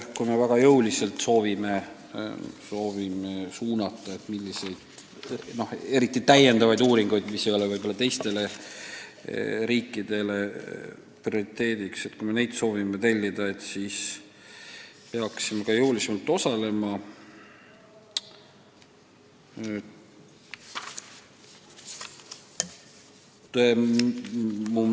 Kui me väga jõuliselt soovime suunata, milliseid uuringuid tellida, eriti täiendavaid uuringuid, mis ei ole teistele riikidele prioriteediks, siis peaksime ka maksmisel jõulisemalt osalema.